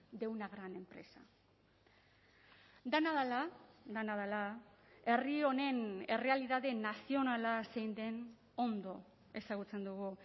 de una gran empresa dena dela dena dela herri honen errealitate nazionala zein den ondo ezagutzen dugu